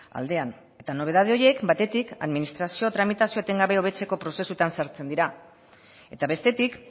aldean eta nobedade horiek batetik administrazio tramitazioa etengabe hobetzeko prozesuetan sartzen dira eta bestetik